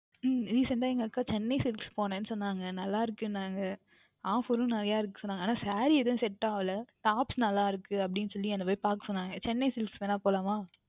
உம் Recent டாக எங்க அக்கா Chennai silks போனேன் என்று சொன்னார்கள் நன்றாக இருக்கு என்று Offer நிறைய இருக்குதென்று சொன்னார்கள் ஆனால் Saree எதுவும் Set ஆகவில்லை Tops நன்றாக இருக்கு அப்படி என்று சொல்லி என்ன போய் பார்க்க சொன்னார்கள் Chennai silks வேண்டுமென்றால் போகலாம்